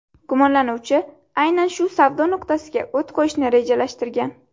Gumonlanuvchi aynan shu savdo nuqtasiga o‘t qo‘yishni rejalashtirgan.